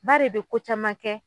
Ba de bɛ ko caman kɛ.